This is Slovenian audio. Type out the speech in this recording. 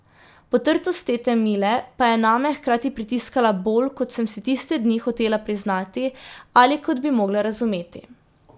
Potrtost tete Mile pa je name hkrati pritiskala bolj, kot sem si tiste dni hotela priznati ali kot bi mogla razumeti.